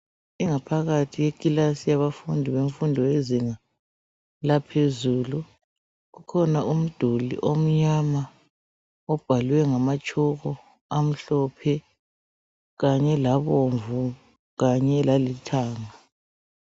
Ingaphakathi yekilasi yabafundi bemfundo yezinga laphezulu . Kukhona umduli omnyama obhalwe ngamatshoko amhlophe kanye labomvu kanye lalithanga .